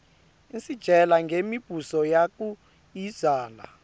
isitjela ngemi buso yakuiszala